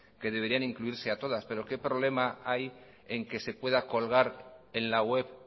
que debería incluirse a todas pero qué problema hay en que se pueda colgar en la web